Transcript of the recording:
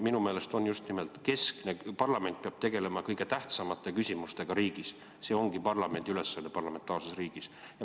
Minu meelest on keskne teema just nimelt see ja parlament peab tegelema kõige tähtsamate küsimustega riigis, see ongi parlamendi ülesanne parlamentaarses riigis.